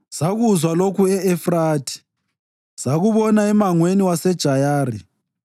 Sakuzwa lokhu e-Efrathi, sakubona emangweni waseJayari: